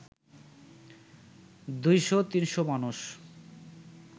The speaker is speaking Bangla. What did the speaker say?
২০০-৩০০ মানুষ